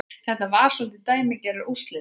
Þetta var svolítið dæmigerður úrslitaleikur